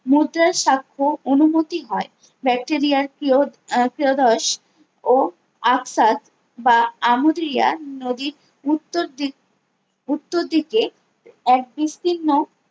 মুদ্রার সাক্ষ্য অনুমতি হয়ে ব্যাক্টেরিয়ার কিউ কিয়োদোস ও আফসাস বা আমোদিয়ার নদীর উত্তর দিক উত্তর দিকে এক বির্স্তীর্ণ